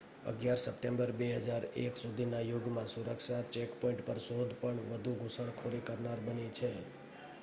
11 September 2001 પછીના યુગમાં સુરક્ષા ચેકપોઈન્ટ પર શોધ પણ વધુ ઘુસણખોરી કરનાર બની છે